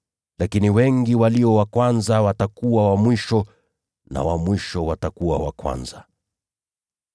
Lakini wengi walio wa kwanza watakuwa wa mwisho, na wa mwisho watakuwa wa kwanza.”